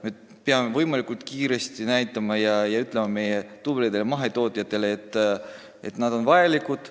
Me peame võimalikult kiiresti näitama meie tublidele mahetootjatele, et nad on vajalikud.